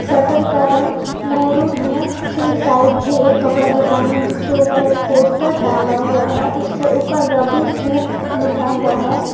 Shutter का रंग maroon है पीछे की साइड भी एक कपड़ा दुकान है जिसके ऊपर एक पोस्टर टंगा हुआ है उसके ऊपर रवि सूट लिखा हुआ है।